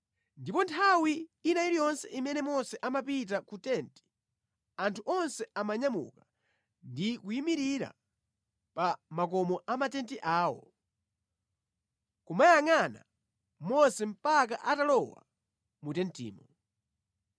Ndipo nthawi ina iliyonse imene Mose amapita ku tenti anthu onse amanyamuka ndi kuyimirira pa makomo amatenti awo, kumuyangʼana Mose mpaka atalowa mu tentimo.